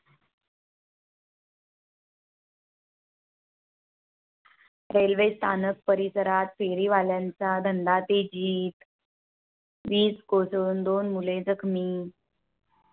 Railway स्थानक परिसरात फेरीवाल्यांचा धंदा तेजीत. वीज कोसळून दोन मुले जखमी.